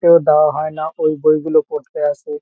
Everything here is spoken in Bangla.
এও দেওয়া হয় না ওই বইগুলো পড়তে আসে।